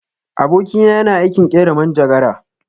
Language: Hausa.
Aboki na yana aikin ƙera manjagara.